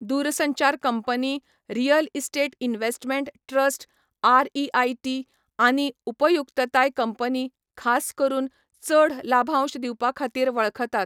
दूरसंचार company, real estate investment trust REIT, आनी उपयुक्तताय कंपनी, खास करून, चड लाभांश दिवपाखातीर वळखतात.